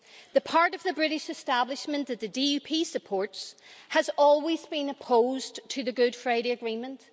The part of the British establishment that the DUP supports has always been opposed to the Good Friday Agreement.